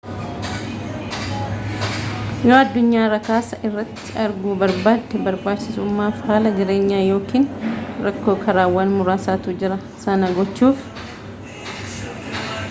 yoo addunyaa rakasa irratti arguu barbaadde barbaachaachisummaaf haala jireenyaa yookiin rakkoo karaawwan muraasatu jira sana gochuuf